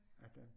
18